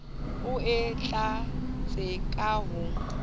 o e tlatse ka ho